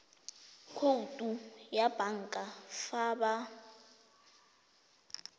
khoutu ya banka fa ba